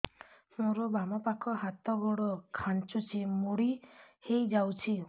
ମୋର ବାମ ପାଖ ହାତ ଗୋଡ ଖାଁଚୁଛି ମୁଡି ହେଇ ଯାଉଛି